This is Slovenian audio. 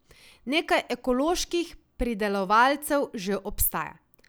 Nekaj ekoloških pridelovalcev že obstaja.